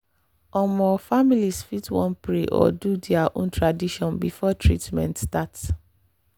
ome families fit wan pray or do their own tradition before treatment start.